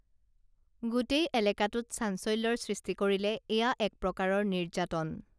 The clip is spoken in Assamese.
গোটেই এলাকাটোত চাঞ্চল্যৰ সৃষ্টি কৰিলে এয়া একপ্ৰকাৰৰ নিৰ্য্যাতন